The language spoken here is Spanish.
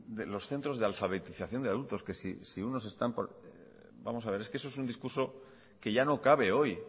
de los centros de alfabetización de adultos vamos a ver es que eso es un discurso que ya no cabe hoy